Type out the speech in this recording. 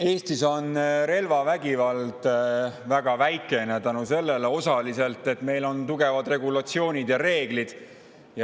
Eestis on relvavägivalda väga vähe, osaliselt tänu sellele, et meil on tugevad regulatsioonid ja reeglid.